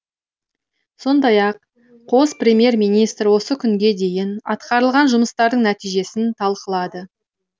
сондай ақ қос премьер министр осы күнге дейін атқарылған жұмыстардың нәтижесін талқылады